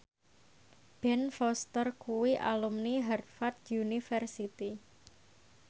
Ben Foster kuwi alumni Harvard university